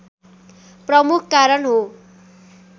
प्रमुख कारण हो